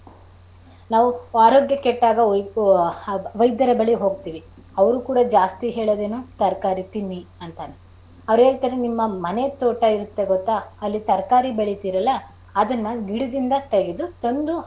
ನಾವು ಆರೋಗ್ಯ ಕೆಟ್ಟಾಗ ವೈ~ ವೈದ್ಯರ ಬಳಿ ಹೋಗ್ತಿವಿ ಅವರು ಕೂಡ ಜಾಸ್ತಿ ಹೇಳೋದೇನು ತರಕಾರಿ ತಿನ್ನಿ ಅಂತ. ಅವರು ಹೇಳ್ತಾರೆ ನಿಮ್ಮ ಮನೆ ತೋಟ ಇರುತ್ತೆ ಗೊತ್ತಾ ಅಲ್ಲಿ ತರಕಾರಿ ಬೆಳಿತಿರಲ್ಲ ಅದುನ್ನ ಗಿಡದಿಂದ ತೆಗೆದು ತಂದು.